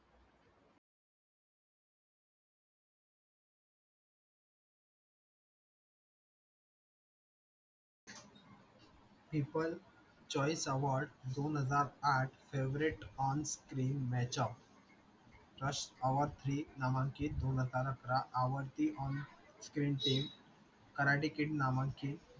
keeper choice award दोन हजार आठ favorite on the match out karate kid नामंकित